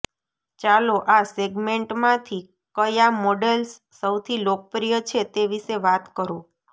ચાલો આ સેગમેન્ટમાંથી કયા મોડેલ્સ સૌથી લોકપ્રિય છે તે વિશે વાત કરો